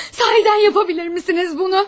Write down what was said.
Sahildən bunu edə bilərsinizmi?